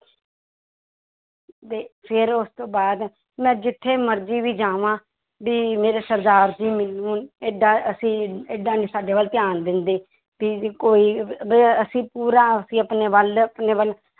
ਤੇ ਫਿਰ ਉਸ ਤੋਂ ਬਾਅਦ ਮੈਂ ਜਿੱਥੇ ਮਰਜ਼ੀ ਵੀ ਜਾਵਾਂ ਵੀ ਮੇਰੇ ਸਰਦਾਰ ਜੀ ਮੈਨੂੰ ਏਡਾ ਅਸੀਂ ਏਡਾ ਨੀ ਸਾਡੇ ਵੱਲ ਧਿਆਨ ਦਿੰਦੇ, ਵੀ ਕੋਈ ਅਸੀਂ ਪੂਰਾ ਅਸੀਂ ਆਪਣੇ ਵੱਲ ਆਪਣੇ ਵੱਲ